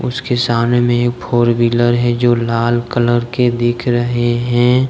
उसके सामने में एक फोर व्हीलर हैं जो लाल कलर के दिख रहे हैं ।